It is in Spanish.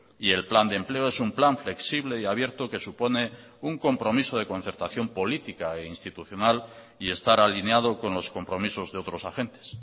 y el plan de empleo es un plan flexible y abierto que supone un compromiso de concertación política e institucional y estar alineado con los compromisos de otros agentes